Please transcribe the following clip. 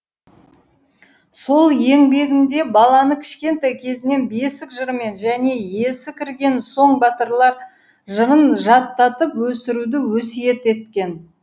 сол еңбегінде баланы кішкентай кезінен бесік жырымен және есі кірген соң батырлар жырын жаттатып өсіруді өсиет еткен